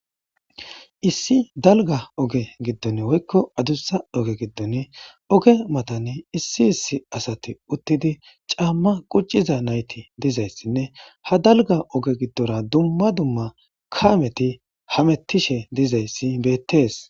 Issi dalgga oge giddon woykko adussa oge giddon oge matani issi issi asati uttidi caamma qucciza nayti dizayssinne ha dalga oge giddora dumma dumma kaameti hamettishe dizayssi beettees.